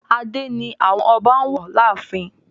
adé ni àwọn ọba wọ ààfin.